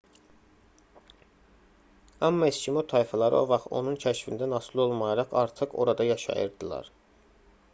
amma eskimo tayfaları o vaxt onun kəşfindən asılı olmayaraq artıq orada yaşayırdılar